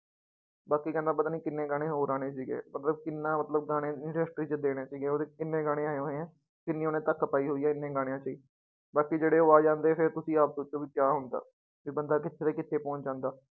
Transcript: ਬਾਕੀ ਕਹਿੰਦਾ ਪਤਾ ਨੀ ਕਿੰਨੇ ਗਾਣੇ ਹੋਰ ਆਉਣੇ ਸੀਗੇ ਮਤਲਬ ਕਿੰਨਾ ਮਤਲਬ ਗਾਣੇ industry ਚ ਦੇਣੇ ਸੀਗੇ ਉਹਦੇ ਕਿੰਨੇ ਗਾਣੇ ਆਏ ਹੋਏ ਹੈ, ਕਿੰਨੀ ਉਹਨੇ ਧੱਕ ਪਾਈ ਹੋਈ ਹੈ ਇੰਨੇ ਗਾਣਿਆਂ ਚ ਹੀ, ਬਾਕੀ ਜਿਹੜੇ ਉਹ ਆ ਜਾਂਦੇ ਫਿਰ ਤੁਸੀਂ ਆਪ ਸੋਚੋ ਵੀ ਕਿਆ ਹੁੰਦਾ, ਵੀ ਬੰਦਾ ਕਿੱਥੇ ਦਾ ਕਿੱਥੇ ਪਹੁੰਚ ਜਾਂਦਾ।